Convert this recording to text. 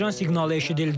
Həyəcan siqnalı eşidildi.